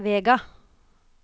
Vega